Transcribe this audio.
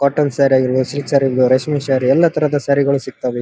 Cotton sari ಆಗಿರ್ಬಹುದು silk sari ಆಗಿರ್ಬಹುದು ಎಲ್ಲ ತರಹದಸಾರೀಗಳು ಸಿಗ್ತವೆ ಇಲ್ಲಿ.